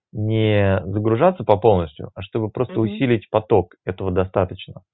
нее загружается по полностью угу а чтобы просто усилить поток этого достаточно